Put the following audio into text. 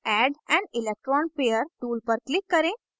add an electron pair tool पर click करें